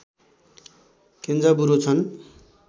Kenzaburo छन्